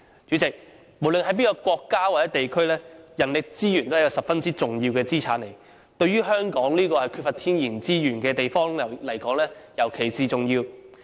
主席，無論在任何一個國家或地區，人力資源都是十分重要的資產。對於香港這個缺乏天然資源的地方而言，尤其重要。